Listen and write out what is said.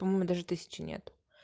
по-моему даже тысячи нет